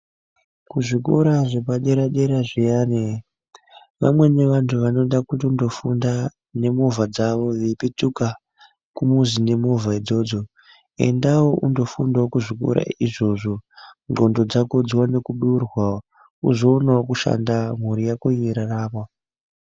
Kuzvikora zvepadera dera zviyani, vamweni vandu vanoda kutondofunga nemovha dzavo veipetuka kumuzi nemovha idzodzo, endaivo undofundavo kuzvikora izvozvo ngondo dzako dziwane kudurwa uzowonavo kushanda mhuri yako yeirarama.